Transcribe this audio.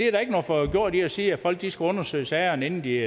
er ikke noget forgjort i at sige at folk skal undersøge sagerne inden de